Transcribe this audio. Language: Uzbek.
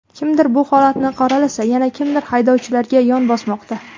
Kimdir bu holatni qoralasa, yana kimdir haydovchilarga yon bosmoqda.